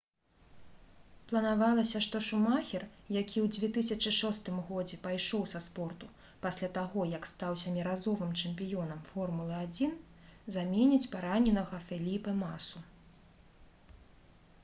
планавалася што шумахер які ў 2006 годзе пайшоў са спорту пасля таго як стаў сяміразовым чэмпіёнам формулы-1 заменіць параненага феліпэ масу